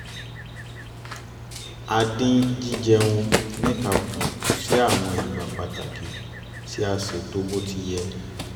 a dín jí jẹun níta kù sí àwọn ìgbà pàtàkì tí a ṣètò bó ti yẹ